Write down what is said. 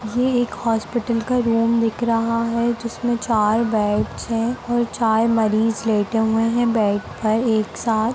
ये एक हॉस्पिटल का रूम दिख रहा है जिसमें चार बेड्स हैं और चार मरीज लेटे हुए हैं बेड पर एक साथ।